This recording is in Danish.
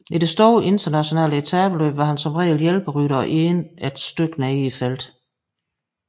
I store internationale etapeløb var han som regel hjælperytter og endte et stykke nede i feltet